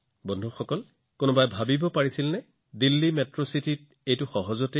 বন্ধুসকল কোনোবাই হয়তো ভাবিব পাৰে যে দিল্লী এখন মেট্ৰ চহৰ আছে এই সকলোবোৰ তাত থকাটো সহজ কথা